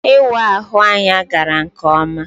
Ịwa ahụ anya gara nke ọma.